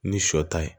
Ni sɔ ta ye